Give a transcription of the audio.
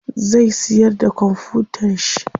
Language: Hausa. Zai siyar da kwamfutan shi.